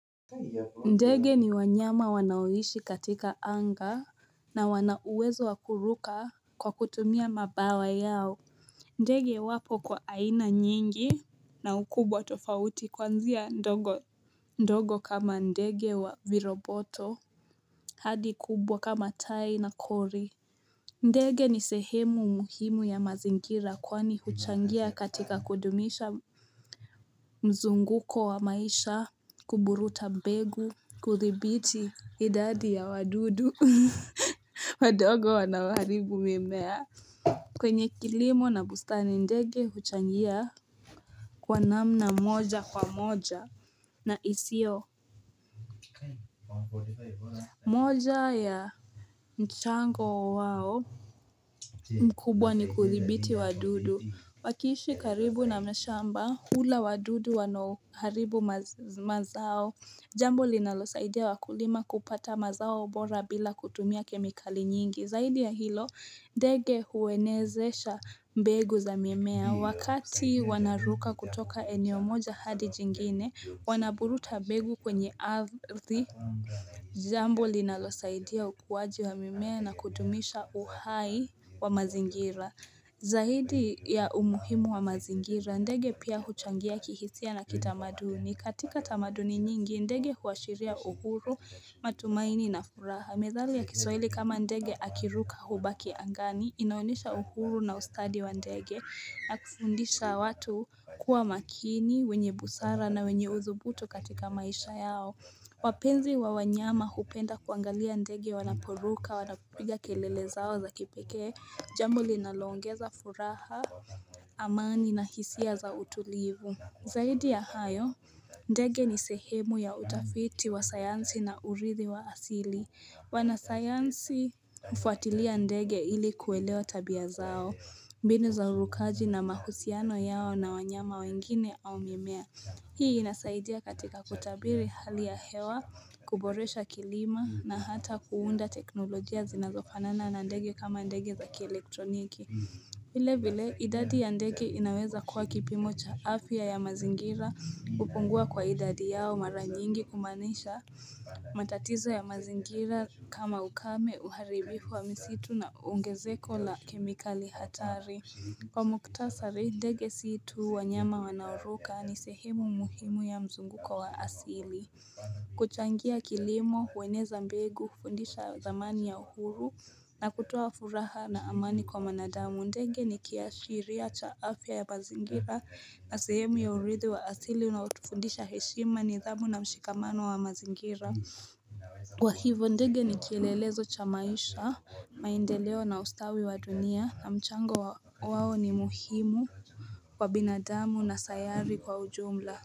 Ndege ni wanyama wanaoishi katika anga na wana uwezo wa kuruka kwa kutumia mabawa yao ndege wapo kwa aina nyingi na ukubwa tofauti kuanzia ndogo ndogo kama ndege wa viroboto hadi kubwa kama tai na kori ndege ni sehemu muhimu ya mazingira kwani huchangia katika kudumisha mzunguko wa maisha, kuburuta mbegu, kudhibiti idadi ya wadudu wadogo wanaoharibu mimea. Kwenye kilimo na bustani ndege huchangia kwa namna moja kwa moja na isiyo. Moja ya mchango wao mkubwa ni kudhibiti wadudu. Wakiishi karibu na mashamba hula wadudu wanaoharibu mazao Jambo linalosaidia wakulima kupata mazao mbora bila kutumia kemikali nyingi. Zaidi ya hilo, ndege huenezesha mbegu za mimea. Wakati wanaruka kutoka eneo moja hadi jingine, wanaburuta mbegu kwenye ardhi Jambo linalosaidia ukuaji wa mimea na kudumisha uhai wa mazingira Zaidi ya umuhimu wa mazingira, ndege pia huchangia kihisia na kitamaduni. Katika tamaduni nyingi, ndege huashiria uhuru matumaini na furaha. Methali ya kiswahili kama ndege akiruka hubaki angani inaonyesha uhuru na ustadi wa ndege ya kufundisha watu kuwa makini, wenye busara na wenye uthubutu katika maisha yao wapenzi wa wanyama kupenda kuangalia ndege wanaporuka wanapiga kelele zao za kipekee jambo linaloongeza furaha amani na hisia za utulivu zaidi ya hayo ndege ni sehemu ya utafiti wa sayansi na urithi wa asili Wanasayansi hufuatilia ndege ili kuelewa tabia zao mbinu za urukaji na mahusiano yao na wanyama wengine au mimea Hii inasaidia katika kutabiri hali ya hewa, kuboresha kilimo na hata kuunda teknolojia zinazofanana na ndege kama ndege za kielektroniki vile vile idadi ya ndege inaweza kuwa kipimo cha afya ya mazingira kupungua kwa idadi yao mara nyingi humaanisha matatizo ya mazingira kama ukame uharibifu wa misitu na ongezeko la kemikali hatari kwa muhtasari ndege si tu wanyama wanaoruka ni sehemu muhimu ya mzunguko wa asili kuchangia kilimo hueneza mbegu hufundisha dhamani ya uhuru na kutoa furaha na amani kwa mwanadamu ndege ni kiashiria cha afya ya mazingira na sehemu ya urithi wa asili unaotufundisha heshima nidhamu na mshikamano wa mazingira Kwa hivyo ndege ni kielelezo cha maisha maendeleo na ustawi wa dunia na mchango wao ni muhimu kwa binadamu na sayari kwa ujumla.